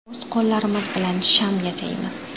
O‘z qo‘llarimiz bilan sham yasaymiz.